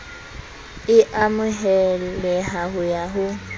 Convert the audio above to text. e a amoheleha ya ho